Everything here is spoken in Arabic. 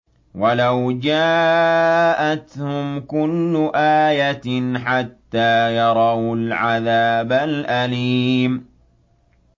وَلَوْ جَاءَتْهُمْ كُلُّ آيَةٍ حَتَّىٰ يَرَوُا الْعَذَابَ الْأَلِيمَ